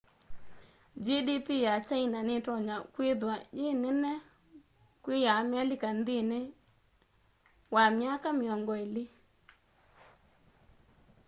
gdp ya kyaina nitonya kwithwa yi nene kwi ya amelika nthĩnĩ wa myaka mĩongo ĩlĩ